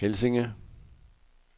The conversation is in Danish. Helsinge